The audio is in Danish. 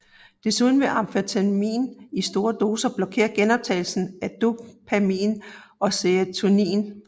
Desuden vil amfetamin i store doser blokere genoptagelsen af dopamin og serotonin